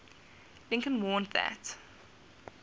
lincoln warned that